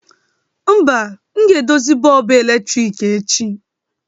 Mba, m ga-edozi bọlbụ eletrik echi